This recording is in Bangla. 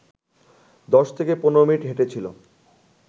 দশ থেকে পনেরো মিনিট হেঁটেছিল